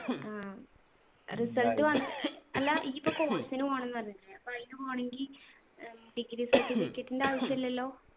ആ result വന്ന് അല്ല ഇയിപ്പൊ course നു പോണംന്ന് പറഞ്ഞിട്ടില്ലേ അപ്പൊ അയിനുപോണെങ്കി ഏർ degree certificate ൻ്റെ ആവശ്യല്ലല്ലോ